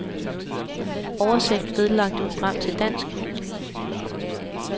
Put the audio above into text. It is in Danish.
Oversæt vedlagte program til dansk.